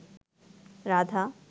Radha